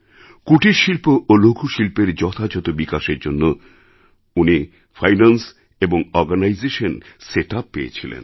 কুটিরশিল্প ও লঘুশিল্পের যথাযথ বিকাশের জন্য উনি ফাইন্যান্স এবং অরগানাইজেশন সেট আপ পেয়েছিলেন